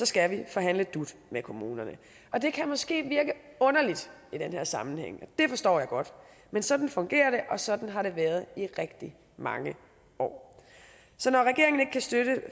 skal vi forhandle dut med kommunerne og det kan måske virke underligt i den her sammenhæng og det forstår jeg godt men sådan fungerer det og sådan har det været i rigtig mange år så når regeringen ikke kan støtte